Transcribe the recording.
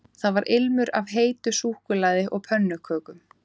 Það var ilmur af heitu súkkulaði og pönnukökum